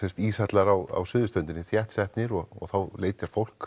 íshellar á suðurströndinni þéttsetnir og þá leitar fólk